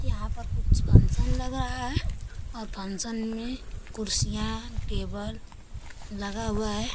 यहाँ पर कुछ फंक्शन लग रहा है और फंक्शन में कुर्सियाँ टेबल लगा हुआ है।